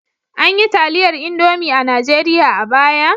An yi taliyar Indomi a Najeriya a baya?